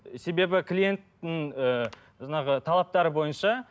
себебі клиенттің ыыы жаңағы талаптары бойынша